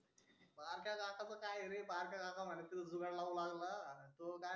तो काय हे बे बारक्या काका म्हणे तू जुगाड लावू लागला तो काय